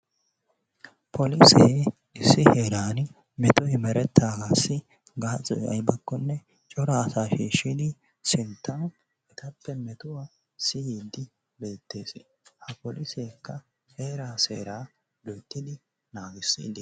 polisee issi heeraani metoy meretanaassi gaasoy aybbakko cora asaa shiishidi sintan etappe metuwa siyiidi beetees, ha poliseekka heeraa seeraa loyttidi naagidi